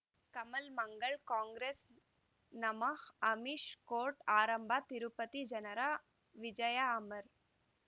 ಕಮಲ್ ಮಂಗಳ್ ಕಾಂಗ್ರೆಸ್ ನಮಃ ಅಮಿಷ್ ಕೋರ್ಟ್ ಆರಂಭ ತಿರುಪತಿ ಜನರ ವಿಜಯ ಅಮರ್